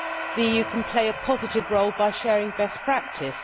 The EU can play a positive role by sharing best practice.